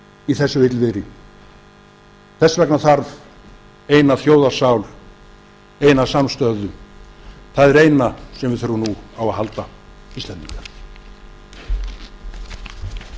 í þessu illviðri þess vegna þarf eina þjóðarsál eina samstöðu það er eina sem við þurfum nú á að halda